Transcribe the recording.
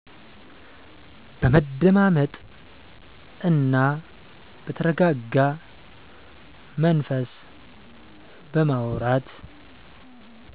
በመደማመጥ እና በተረጋጋ መንፈስ በማውራት